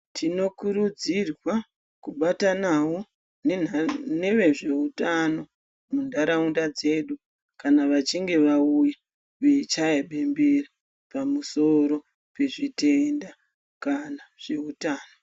Tinokurudzirwa kubatanawo nevezveutano mundaraunda dzedu kana vachinge vauya veichaya bembera pamusoro pezvi tenda kana zveutano.